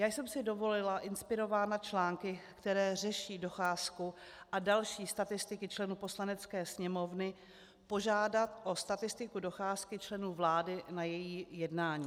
Já jsem si dovolila, inspirována články, které řeší docházku a další statistiky členů Poslanecké sněmovny, požádat o statistiku docházky členů vlády na její jednání.